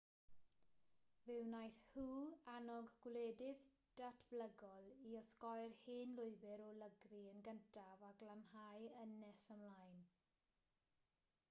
fe wnaeth hu annog gwledydd datblygol i osgoi'r hen lwybr o lygru yn gyntaf a glanhau yn nes ymlaen